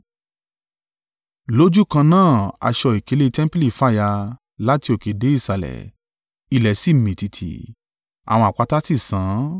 Lójúkan náà aṣọ ìkélé tẹmpili fàya, láti òkè dé ìsàlẹ̀. Ilẹ̀ sì mì tìtì. Àwọn àpáta sì sán.